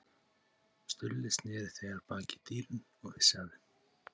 Stulli sneri þegar baki í dýrin og vissi að þeim